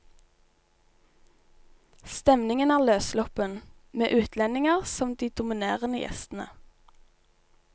Stemningen er løssluppen, med utlendinger som de dominerende gjestene.